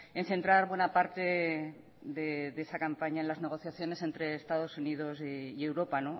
en centrar buena parte de esa campaña en las negociaciones entre estados unidos y europa